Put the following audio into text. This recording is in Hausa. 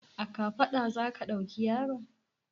A kafaɗa za ka ɗauki yaron?